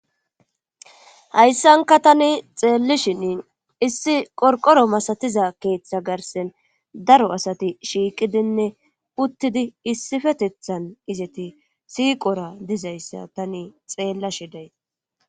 Hayssanka tani xeellishinin issi qorqoro masatiza keeththa garsen daro asati shiiqidinne puttidi issifetethan izeti siiqora dizayssa tani xeellasheday.